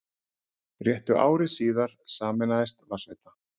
Réttu ári síðar sameinaðist Vatnsveita